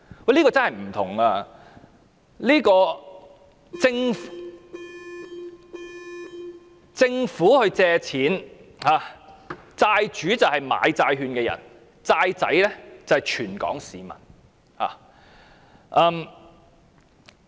這真是有分別的，政府借錢，債主是買債券的人，"債仔"則是全港市民。